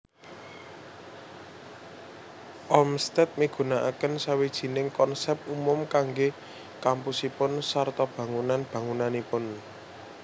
Olmsted migunakaken sawijining konsèp umum kanggé kampusipun sarta bangunan bangunanipun